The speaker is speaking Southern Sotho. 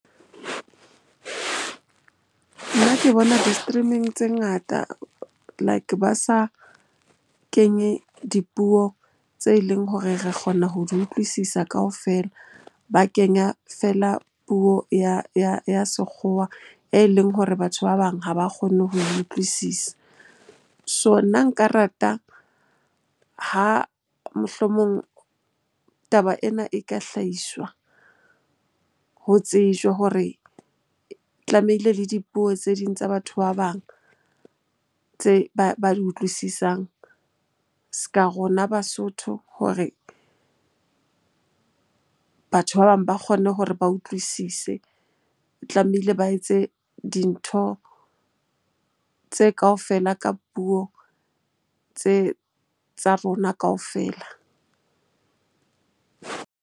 Nna ke bona di-streaming tse ngata like ba sa kenye dipuong tse leng hore re kgona ho di utlwisisa kaofela. Ba kenya fela puo ya sekgowa e leng hore batho ba bang ha ba kgone ho e utlwisisa. So, nna nka rata ha mohlomong taba ena e ka hlahiswa Ho tsejwe hore tlamehile le dipuo tse ding tsa batho ba bang tse ba di utlwisisang s'ka rona Basotho hore batho ba bang ba kgone hore ba utlwisise. E tlamehile ba etse dintho tse kaofela ka puo tse tsa rona kaofela.